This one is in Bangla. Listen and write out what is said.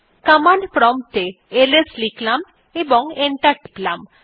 কমান্ড প্রম্পট এ এলএস লিখলাম এবং এন্টার টিপলাম